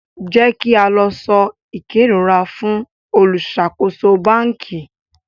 jẹ ki a lọ so ikerora fún oluṣakoso banki